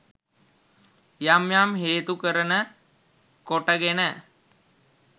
යම් යම් හේතු කරන කොටගෙන